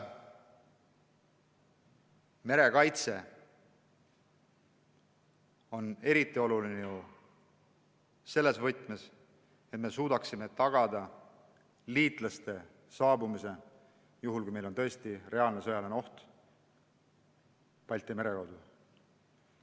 Merekaitse on eriti oluline, et me suudaksime tagada liitlaste saabumise juhul, kui tõesti tekib reaalne sõjaline oht Balti mere kaudu.